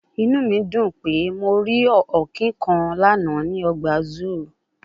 Inu mi dun pe Mo ri Ọ̀kín kan lana ni ọgba ọgba zoo